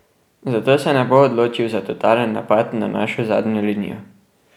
Zato se ne bo odločil za totalen napad na našo zadnjo linijo.